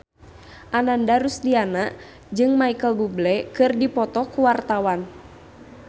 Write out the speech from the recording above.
Ananda Rusdiana jeung Micheal Bubble keur dipoto ku wartawan